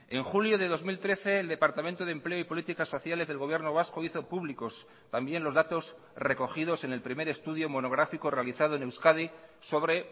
en julio de dos mil trece el departamento de empleo y políticas sociales del gobierno vasco hizo públicos también los datos recogidos en el primer estudio monográfico realizado en euskadi sobre